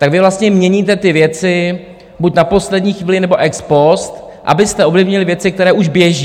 Tak vy vlastně měníte ty věci buď na poslední chvíli, nebo ex post, abyste ovlivnili věci, které už běží.